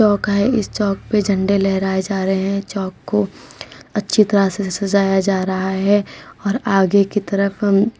चौक है इस चौक पे झंडे लहराए जा रहे हैं चौक को अच्छी तरह से सजाया जा रहा है और आगे की तरफ हम --